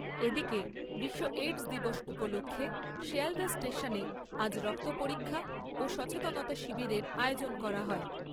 এদিকে, বিশ্ব এইডস দিবস উপলক্ষে শিয়ালদা স্টেশনে আজ রক্ত পরীক্ষা ও সচেতনতা শিবিরের আয়োজন করা হয়।